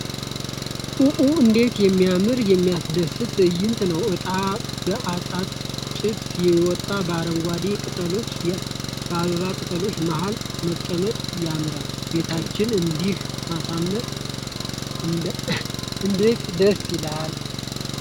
ኦ! እንዴት የሚያምርና የሚያስደስት ትዕይንት ነው! ዕጣኑ በመዓጠንቱ ጭስ ይወጣል! በአረንጓዴ ቅጠሎችና በአበባ ቅጠሎች መሃል መቀመጡ ያምራል! ቤታችንን እንዲህ ማሳመር እንዳት ደስ ይላል።